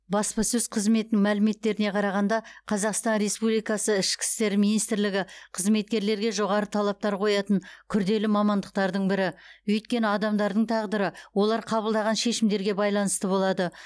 баспасөз қызметінің мәліметтеріне қарағанда қазақстан республикасы ішкі істер министрлігі қызметкерлерге жоғары талаптар қоятын күрделі мамандықтардың бірі өйткені адамдардың тағдыры олар қабылдаған шешімдерге байланысты болады